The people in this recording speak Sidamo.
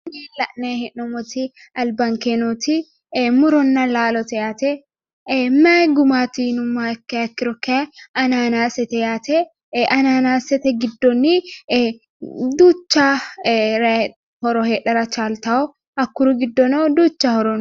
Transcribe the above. Tini la'nayi hee'nommoti albankee nooti ee muronna laalote yaate mayii gumaati yinummoha ikkiha ikkiro kaayi ananaasete yaate ananaasete giddonni duucha horo heedhara chaaltawo hakkuri giddonnino duucha horo no.